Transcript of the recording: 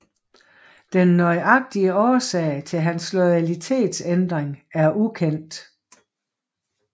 Den nøjagtige årsag til hans loyalitetsændring er ukendt